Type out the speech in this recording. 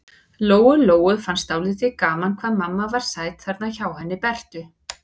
Lóu-Lóu fannst dálítið gaman hvað mamma var sæt þarna hjá henni Bertu.